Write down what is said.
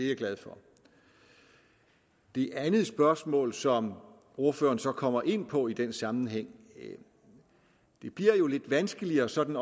jeg glad for det andet spørgsmål som ordføreren så kommer ind på i den sammenhæng bliver lidt vanskeligere sådan